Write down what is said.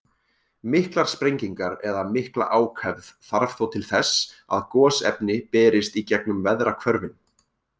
Miklar sprengingar eða mikla ákefð þarf þó til þess að gosefni berist í gengum veðrahvörfin.